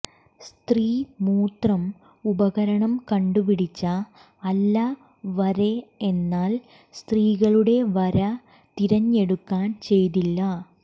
സ്ത്രീ മൂത്രം ഉപകരണം കണ്ടുപിടിച്ച അല്ല വരെ എന്നാൽ സ്ത്രീകളുടെ വരെ തിരഞ്ഞെടുക്കാൻ ചെയ്തില്ല